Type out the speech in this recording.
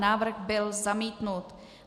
Návrh byl zamítnut.